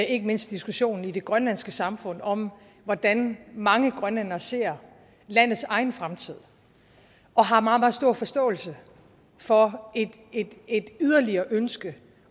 ikke mindst diskussionen i det grønlandske samfund om hvordan mange grønlændere ser landets egen fremtid og har meget meget stor forståelse for et yderligere ønske